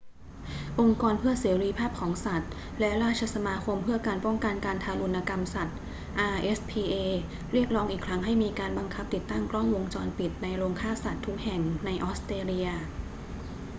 องค์กรเพื่อเสรีภาพของสัตว์และราชสมาคมเพื่อการป้องกันการทารุณกรรมสัตว์ rspa เรียกร้องอีกครั้งให้มีการบังคับติดตั้งกล้องวงจรปิดในโรงฆ่าสัตว์ทุกแห่งในออสเตรเลีย